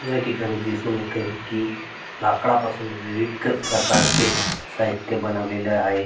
या ठिकाणी दिसून येत आहे की लाकडापासून विविध प्रकारचे साहित्य बनवलेल आहे.